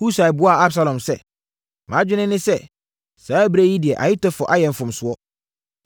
Husai buaa Absalom sɛ, “Mʼadwene ne sɛ saa ɛberɛ yi deɛ Ahitofel ayɛ mfomsoɔ.